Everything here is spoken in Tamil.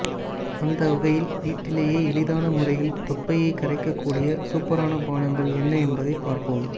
அந்தவகையில் வீட்டிலேயே எளிதான முறையில் தொப்பையை கரைக்க கூடிய சூப்பரனா பானங்கள் என்ன என்பதை பார்ப்போம்